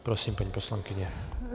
Prosím, paní poslankyně.